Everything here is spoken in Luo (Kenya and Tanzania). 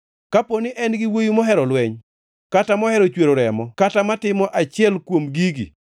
“Kapo ni en gi wuowi mohero lweny, kata mohero chwero remo kata matimo achiel kuom gigi